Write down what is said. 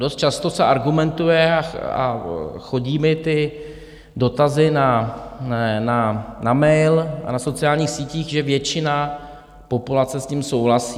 Dost často se argumentuje, a chodí mi ty dotazy na mail a na sociálních sítích, že většina populace s tím souhlasí.